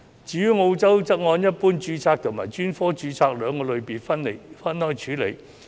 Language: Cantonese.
至於澳洲則按一般註冊及專科註冊兩個類別分開處理。